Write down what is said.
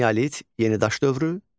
Neolit, yenidaş dövrü,